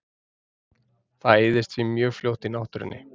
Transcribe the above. Það eyðist því mjög fljótt í náttúrunni.